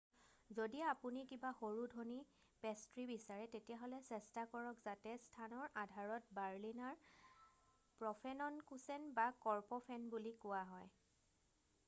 "যদি আপুনি কিবা সৰু ধনী পেষ্ট্ৰী বিচাৰে তেতিয়াহলে চেষ্টা কৰক যাতে স্থানৰ আধাৰত বাৰ্লিনাৰ প্ৰফেননকোচেন বা কৰ্পফেন বুলি কোৱা হয় ।""